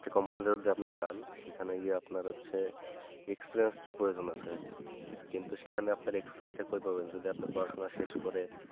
যে company তে যদি আপনি যান সেখানে গিয়ে আপনার হচ্ছে experience তা প্রয়োজন আছে কিন্তু সেখানে আপনি experience ঠিক মতো যদি আপনার পড়াশোনা শেষ করে